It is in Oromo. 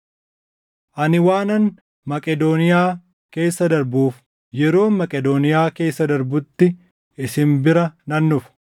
Ani waanan Maqedooniyaa keessa darbuuf, yeroon Maqedooniyaa keessa darbutti isin bira nan dhufa.